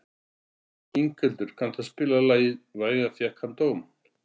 Inghildur, kanntu að spila lagið „Vægan fékk hann dóm“?